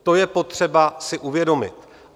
To je potřeba si uvědomit.